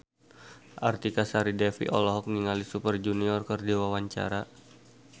Artika Sari Devi olohok ningali Super Junior keur diwawancara